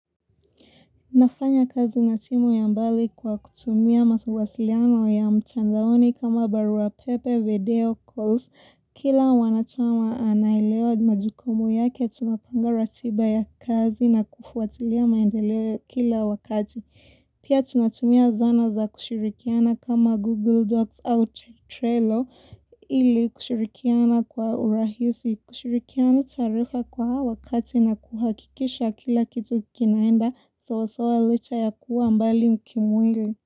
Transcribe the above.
Nafanya kazi na timu ya mbali kwa kutumia masawasiliano ya mtanzaoni kama barua pepe, video calls, kila wanatama anaelewa majukumu yake tunapanga ratiba ya kazi na kufuatilia maendeleo kila wakati. Pia tunatumia zana za kushirikiana kama Google Docs au Trello ili kushirikiana kwa urahisi. Kushirikiana taarifa kwa wakati na kuhakikisha kila kitu kikinaenda sawasawa licha ya kuwa mbali mkimwili.